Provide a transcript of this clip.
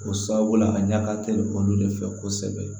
O sababu la a ɲaga teli olu de fɛ kosɛbɛ